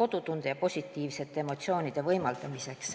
kodutunde ja positiivsete emotsioonide võimaldamist.